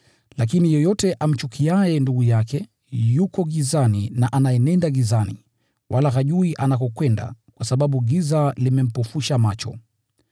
Lakini yeyote amchukiaye ndugu yake, yuko gizani na anaenenda gizani, wala hajui anakokwenda, kwa sababu giza limempofusha macho.